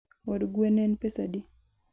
Od gwe en pesadi